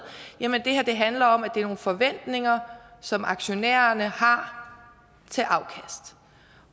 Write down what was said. det her handler om at det er nogle forventninger som aktionærerne har til afkast